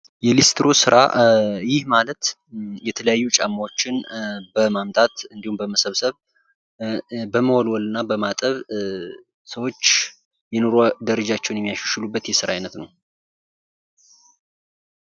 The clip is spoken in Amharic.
የሊስትሮ ስራ ይህ ማለት የተለያዩ ጫማዎችን በማምጣት እንዲሁም በመሰብሰብ በመወልወል እና በማጠብ ስእዎች የኑሮ ደረጃቸውን የሚያሻሽሉበት የስራ አይነት ነው።